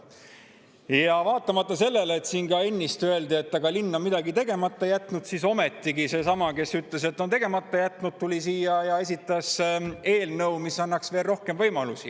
Aga vaatamata sellele, et nagu siin ka ennist öeldi, linn on midagi tegemata jätnud, ometigi seesama, kes ütles, et linn on tegemata jätnud, tuli siia ja esitas eelnõu, mis annaks veel rohkem võimalusi.